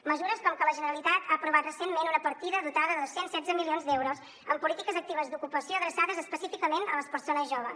mesures com que la generalitat ha aprovat recentment una partida dotada de dos cents i setze milions d’euros en polítiques actives d’ocupació adreçades específicament a les persones joves